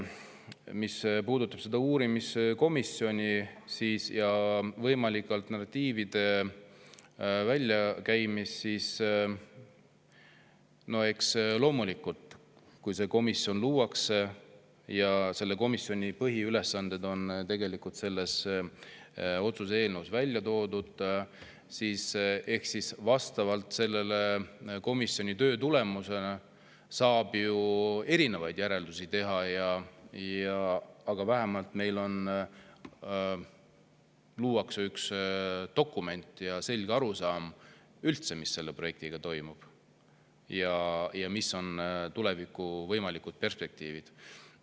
Mis puudutab seda uurimiskomisjoni ja võimalike alternatiivide väljakäimist, siis eks loomulikult, kui see komisjon luuakse – selle komisjoni põhiülesanded on selles otsuse eelnõus välja toodud –, vastavalt selle komisjoni töö tulemusele saab ju erinevaid järeldusi teha, aga vähemalt üks dokument ja selge arusaam, mis selle projektiga üldse toimub ja mis on võimalikud tulevikuperspektiivid.